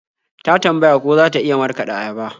Ta tambaya ko za ta iya markaɗa ayaba.